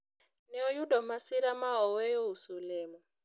ne oyudo masira ma oweyo uso olemo